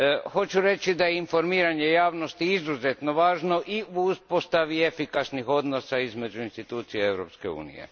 Hoću reći da je informiranje javnosti izuzetno važno i u uspostavi efikasnih odnosa između institucija Europske unije.